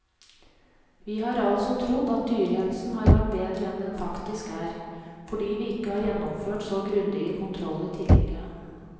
Vi har altså trodd at dyrehelsen har vært bedre enn den faktisk er, fordi vi ikke har gjennomført så grundige kontroller tidligere.